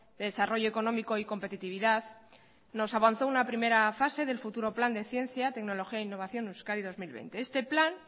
de desarrollo económico y competitividad nos avanzó una primera fase del futuro plan de ciencia tecnología e innovación euskadi dos mil veinte este plan